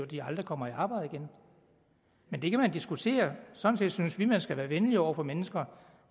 de aldrig kommer i arbejde igen men det kan man diskutere sådan set synes vi at man skal være venlig over for mennesker